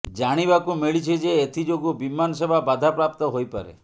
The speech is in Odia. ଜାଣିବାକୁ ମିଳିଛି ଯେ ଏଥିଯୋଗୁ ବିମାନ ସେବା ବାଧାପ୍ରାପ୍ତ ହୋଇପାରେ